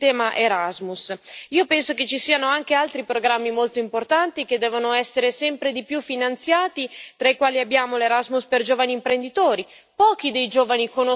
Io penso che ci siano anche altri programmi molto importanti che devono essere sempre di più finanziati, tra i quali abbiamo l'Erasmus per giovani imprenditori pochi dei giovani conoscono questa opportunità.